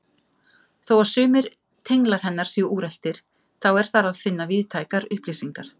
Þó að sumir tenglar hennar séu úreltir þá er þar að finna víðtækar upplýsingar.